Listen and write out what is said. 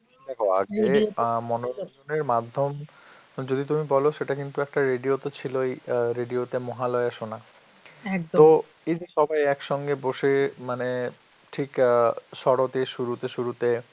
দেখো আগে মনোরঞ্জনের মাধ্যম যদি তুমি বলো সেটা কিন্তু একটা radio তে ছিল এই অ্যাঁ radio তে মহালয়া শোনা তো এই যে সবাই একসঙ্গে বসে মানে ঠিক অ্যাঁ শরৎ এর শুরুতে শুরুতে,